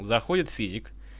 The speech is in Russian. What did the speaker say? заходит физик